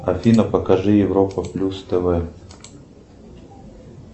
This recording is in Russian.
афина покажи европа плюс тв